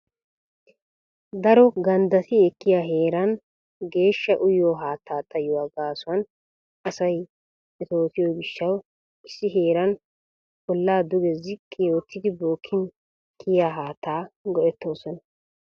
Daro ganddati ekkiya heeran geeshsha uyyiyo haatta xayyuwa gaassuwan asay metottiyo gishshaw issi heeran olla duge ziqqi oottidi bookkin kiyyiya haatta go"ettoosona.